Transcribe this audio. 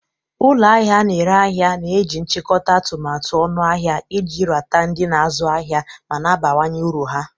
Ụlọ ahịa na-ere ahịa na-eji nchikota atụmatụ ọnụahịa iji rata ndị na-azụ ahịa ma na-abawanye uru ha.